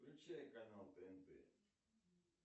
включай канал тнт